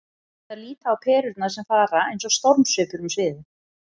Þær líta á perurnar sem fara eins og stormsveipur um sviðið.